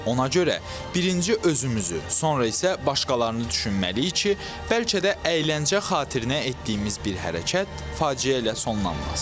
Ona görə birinci özümüzü, sonra isə başqalarını düşünməliyik ki, bəlkə də əyləncə xatirinə etdiyimiz bir hərəkət faciə ilə sonlanmaz.